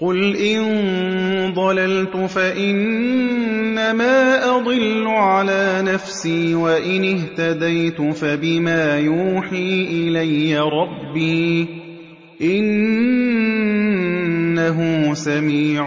قُلْ إِن ضَلَلْتُ فَإِنَّمَا أَضِلُّ عَلَىٰ نَفْسِي ۖ وَإِنِ اهْتَدَيْتُ فَبِمَا يُوحِي إِلَيَّ رَبِّي ۚ إِنَّهُ سَمِيعٌ